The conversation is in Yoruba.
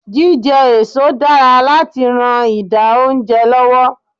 Jíjẹ èso dára láti ran ìdà oúnjẹ lọ́wọ́.